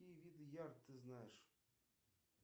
какие виды ярд ты знаешь